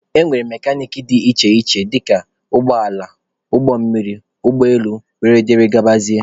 E nwere mekanik dị iche iche dịka nke ụgbọala, ụgbọ mmiri, ụgbọ elu wdg.